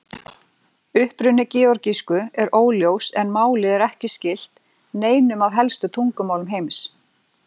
Uppruni georgísku er óljós en málið er ekki skylt neinum af helstu tungumálum heims.